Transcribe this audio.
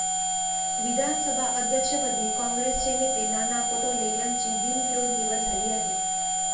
विधानसभा अध्यक्षपदी काँग्रेसचे नेते नाना पटोले यांची बिनविरोध निवड झाली आहे.